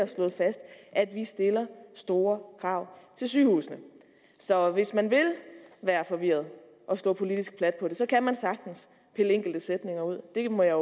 slået fast at vi stiller store krav til sygehusene så hvis man vil være forvirret og slå politisk plat på det kan man sagtens pille enkelte sætninger ud det må jeg